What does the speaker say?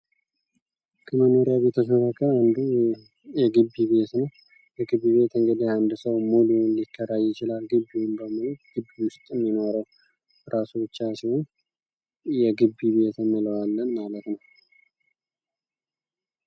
ከመኖሪያ ቤቶች መካከል አንዱ የግቢ ቤት ነው። የግቢ ቤት እንግዲህ አንድ ሰው ሙሉ ሊከራ ይችላል ግቢውን በሙሉ ግቢ ውስጥም ይኖራል። ራሱን የቻለ የግቢ ቤት እንለዋለን ማለት ነው።